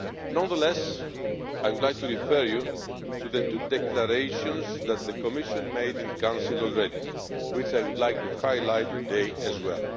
Nonetheless, I would like to refer you to the two declarations that the Commission made in Council already, which I would like to highlight today as well.